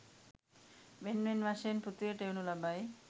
වෙන් වෙන් වශයෙන් පෘථිවියට එවනු ලබයි.